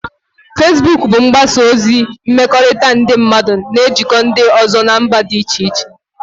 Fesbuk bụ mgbasa ozi mmekọrịta nke ndị mmadụ na-ejikọta ndị ọzọ nọ na mba dị iche iche